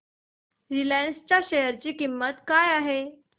Reliance च्या share ची किंमत काय आहे